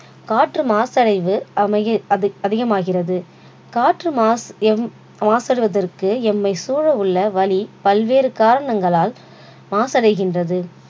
காற்று மாசடைவு அமைகி~அதிகமகிறது காற்று மாசு~எம்~மாசடைவதற்கு எம்மை சூழ உள்ள வளி பல்வேறு காரணங்களால் மாசடைகின்றது